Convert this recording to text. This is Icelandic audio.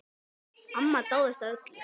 Amma dáðist að öllu.